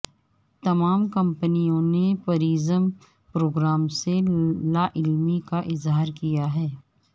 تمام کمپنیوں نے پریزم پروگرام سے لاعلمی کا اظہار کیا ہے